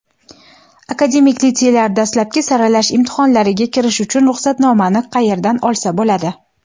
Akademik litseylar dastlabki saralash imtihonlariga kirish uchun ruxsatnomani qayerdan olsa bo‘ladi?.